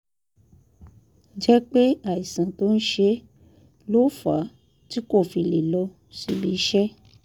jẹ́ pé àìsàn tó ń ṣe é ló fà á tí kò fi lè lọ síbi iṣẹ́